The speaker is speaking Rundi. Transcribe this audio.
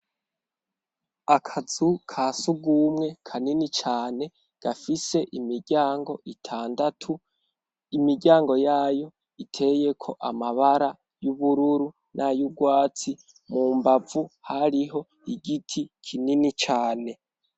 Akazu kasugwumwe kanini cane gafise imiryango itandatu, imiryango yayo iteyeko amabara y'ubururu n'ayurwatsi, mu mbavu hariho igiti kinini cane.